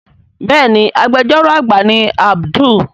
Béèni Agbẹjọ́rò àgbà ni Abdul.